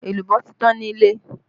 Èlùbọ́ ti tán nílé